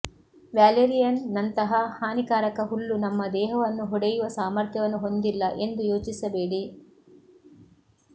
valerian ನಂತಹ ಹಾನಿಕಾರಕ ಹುಲ್ಲು ನಮ್ಮ ದೇಹವನ್ನು ಹೊಡೆಯುವ ಸಾಮರ್ಥ್ಯವನ್ನು ಹೊಂದಿಲ್ಲ ಎಂದು ಯೋಚಿಸಬೇಡಿ